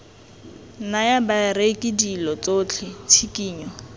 naya bareki dilo tsotlhe tshikinyo